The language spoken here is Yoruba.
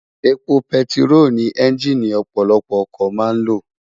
Épó pètiró ni ènjiní òpòlòpò òkò má n ló